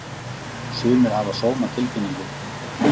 Sumir hafa sómatilfinningu.